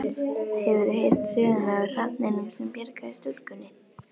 Hefurðu heyrt söguna af hrafninum sem bjargaði stúlkunni?